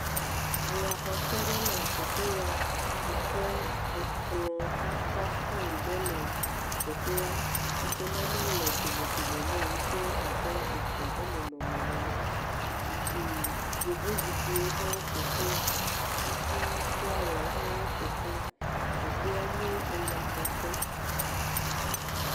Eyaxɔƒe ɖe le teƒe ya yi ʋe ekplɔ̃tata faiŋ ɖe le teƒea yi ke nane le domedome nɛ yi ʋe abe ga ƒe nɔnɔme nene. Zikpui, Yevozikpiwo hã woƒo ʋlẽ. Kafi flawawo hã woƒo ʋlɛ. Teƒea nye eyaxɔƒe.